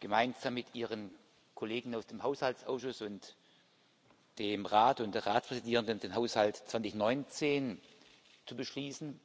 gemeinsam mit Ihren Kollegen aus dem Haushaltsausschuss und dem Rat und der Ratspräsidierenden den Haushalt 2019 zu beschließen.